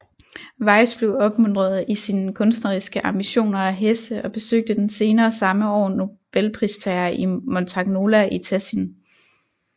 Weiss blev opmuntret i sine kunstneriske ambitioner af Hesse og besøgte den senere samme år nobelpristager i Montagnola i Tessin